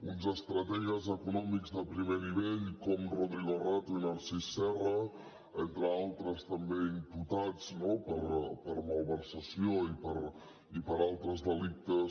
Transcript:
uns estrategues econòmics de primer nivell com rodrigo rato i narcís serra entre altres també imputats no per malversació i per altres delictes